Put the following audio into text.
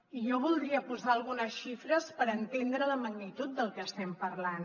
i jo voldria posar algunes xifres per entendre la magnitud del que estem parlant